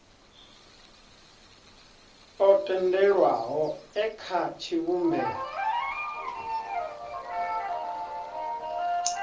o tendelwaho e kha tshivhumbeo